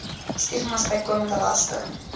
stigmas bykomende laste